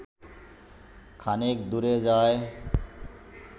খানিক দূরে যায়